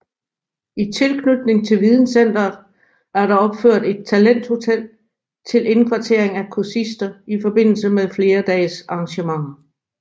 I tilknytning til videncenteret er der opført et talenthotel til indkvartering af kursister i forbindelse med flerdagesarrangementer